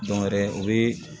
Dɔw yɛrɛ u bɛ